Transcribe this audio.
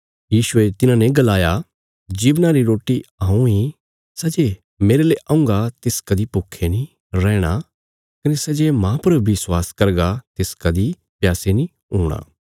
यीशुये तिन्हांने गलाया जीवना री रोटी हऊँ इ सै जे मेरले औंगा तिस कदीं भूखे नीं रैहणा कने सै जे माह पर विश्वास करगा तिस कदीं प्यासे नीं हूणा